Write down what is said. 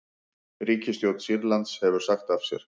Ríkisstjórn Sýrlands hefur sagt af sér